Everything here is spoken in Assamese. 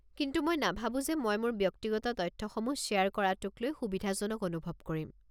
কিন্তু মই নাভাৱো যে মই মোৰ ব্যক্তিগত তথ্যসমূহ শ্বেয়াৰ কৰাটোক লৈ সুবিধাজনক অনুভৱ কৰিম।